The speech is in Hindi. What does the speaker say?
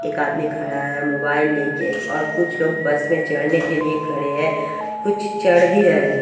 एक आदमी खड़ा है मोबाइल लेके और कुछ लोग बस मे चढ़ने के लिए खडे है कुछ चढ़ भी रहे--